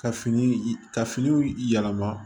Ka fini ka finiw yɛlɛma